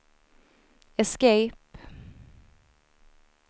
escape